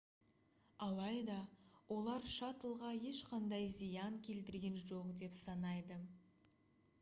алайда олар шаттлға ешқандай зиян келтірген жоқ деп санайды